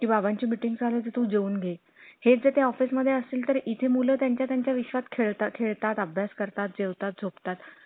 कि बाबांची meeting चालू आहे ते जेउन घे. हे जे त्या office मध्ये असेल तर इथे मुलं त्यांच्या त्यांच्या विश्वात खेळता खेळता अभ्यास करता जेवताच झोपतात.